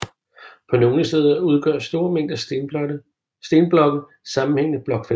På nogle steder udgør store mængder stenblokke sammenhængende blokfelter